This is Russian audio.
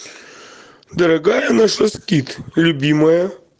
дорогая наша скит любимая